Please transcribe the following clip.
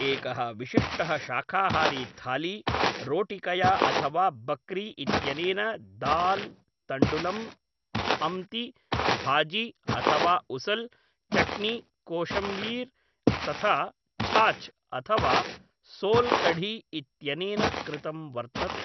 एकः विशिष्टः शाकाहारी थाली, रोटिकया अथवा बक्री इत्यनेन दाल्, तण्डुलं, अम्ति, भाजी अथवा उसल्, चट्नी, कोशिम्बीर् तथा छाछ्, अथवा सोल् कढ़ी इत्यनेन कृतं वर्तते।